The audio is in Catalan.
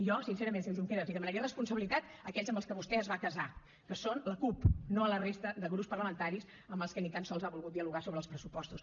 jo sincerament senyor junqueras li demanaria responsabilitat a aquells amb què vostè es va casar que són la cup no a la resta de grups parlamentaris amb els quals ni tan sols ha volgut dialogar sobre els pressupostos